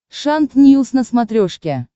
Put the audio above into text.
шант ньюс на смотрешке